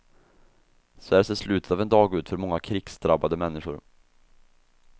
Så här ser slutet av en dag ut för många krigsdrabbade människor.